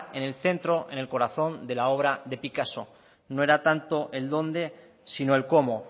en el centro en el corazón de la obra de picasso no era tanto el dónde sino el cómo